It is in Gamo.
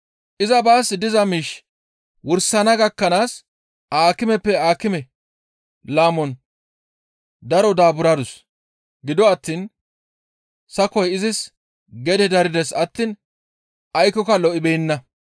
Iza baas diza miish wursana gakkanaas aakimeppe aakime laamon daro daaburadus. Gido attiin sakoy izis gede darides attiin aykkoka lo7ibeenna.